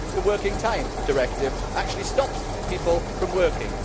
The Working Time Directive actually stops people from working.